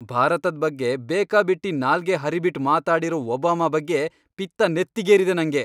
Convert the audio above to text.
ಭಾರತದ್ ಬಗ್ಗೆ ಬೇಕಾಬಿಟ್ಟಿ ನಾಲ್ಗೆ ಹರಿಬಿಟ್ಟ್ ಮಾತಾಡಿರೋ ಒಬಾಮಾ ಬಗ್ಗೆ ಪಿತ್ತ ನೆತ್ತಿಗೇರಿದೆ ನಂಗೆ.